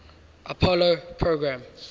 apollo program